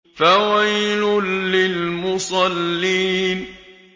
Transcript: فَوَيْلٌ لِّلْمُصَلِّينَ